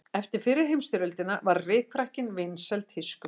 Eftir fyrri heimsstyrjöldina varð rykfrakkinn vinsæl tískuflík.